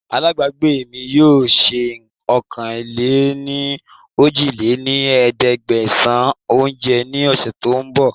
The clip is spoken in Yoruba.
Àlábagbé mi yìí ó sé ọ̀kan-lé-ní-ojì lé ní ẹ̀ẹ́dẹ́gbẹ́sán oúnjẹ ní ọ̀sẹ̀ tòun bọ̀